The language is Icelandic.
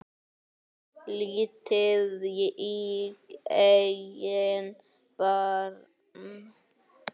Lítið í eigin barm.